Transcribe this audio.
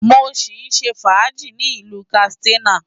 Mo sì ń ṣe fàájì ní ìlú Katsina.